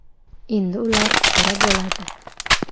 Endi ular qora bo‘ladi .